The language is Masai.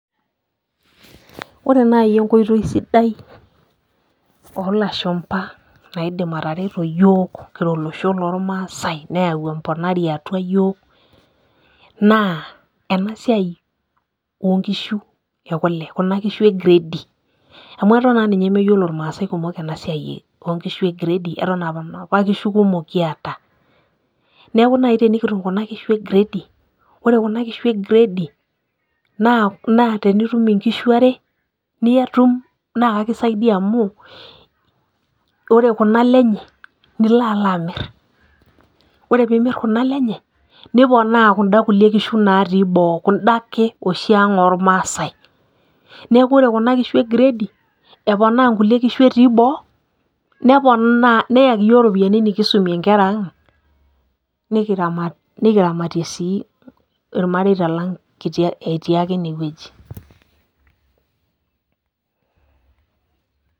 Ore naai enkoitoi sidai olashumba naidim atareto iyiook kira olosho loomaasai neyau embonari atua yiook, naa enasiai oonkishu ekule ekuna kishu egiredi, amu aton naa ninye meyiolo ilmaasai ena siai oonkishu giredi, aton aa inapa kishu kumok kiata. Neeku naai tenikitum kuna kishu egiredi, ore kuna kishu egiredi naa tenitum inkishu are, naa akisaidia amu ore kuna ale enye nilo alo amir. Ore peeimir kuna ale enye, niponaa kunda kulie kishu natii boo kunda oshiake ang' olmaasai. Neeku ore kuna kishu egiredi, eponaa inkulie kishu etii boo neyaki iyiook iropiyiani nikisumie inkera aang', nikiramatie sii ilmareita lang' etii ake inewoji.